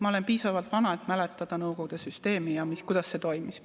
Ma olen piisavalt vana, et mäletada nõukogude süsteemi ja seda, kuidas see toimis.